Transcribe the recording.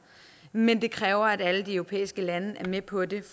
men det kræver at alle de europæiske lande er med på det